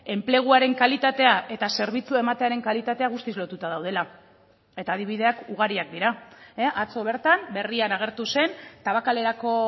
enpleguaren kalitatea eta zerbitzua ematearen kalitatea guztiz lotuta daudela eta adibideak ugariak dira atzo bertan berrian agertu zen tabakalerako